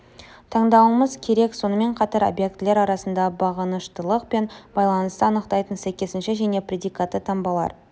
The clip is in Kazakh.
таңдауымыз керек сонымен қатар объектілер арасындағы бағыныштылық пен байланысты анықтайтын сәйкесінше және предикатты таңбаларды